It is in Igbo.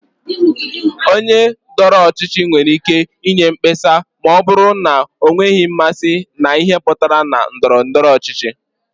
Onye dọrọ ọchịchị nwere ike inye mkpesa ma ọ bụrụ na ọ nweghị mmasị na ihe pụtaranụ na ndọrọ ndọrọ ọchịchị.